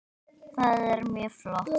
Það er mjög flott.